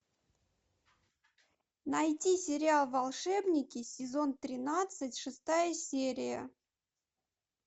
найди сериал волшебники сезон тринадцать шестая серия